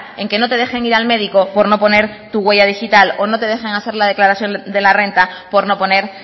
en que no te dejen ir al médico por no poner tu huella digital o no te dejen hacer la declaración de la renta por no poner